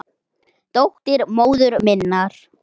Dóttir móður minnar?